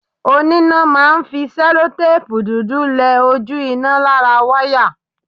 Oníná máa ń fi sẹ́lótèpù dúdú lẹ ojú iná lára wáyà